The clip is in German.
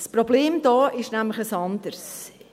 Das Problem ist hier nämlich ein anderes: